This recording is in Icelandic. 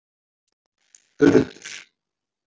urður